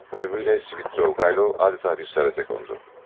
Ölümüylə Svidriqaylov elə də bir səhvə qondu.